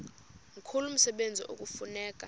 mkhulu umsebenzi ekufuneka